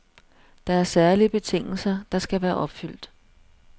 Der er særlige betingelser, der skal være opfyldt.